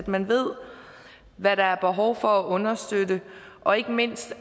man ved hvad der er behov for at understøtte og ikke mindst